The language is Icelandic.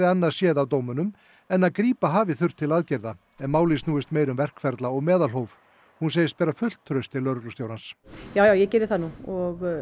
annað séð af dómnum en að grípa hafi þurft til aðgerða en málið snúist meira um verkferla og meðalhóf hún segist bera fullt traust til lögreglustjórans já ég geri það nú og